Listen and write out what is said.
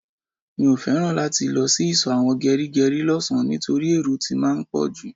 Mio feran láti lọ sí iso àwọn gerigeri lọ sàn nitoripe èrò tí máa ń poju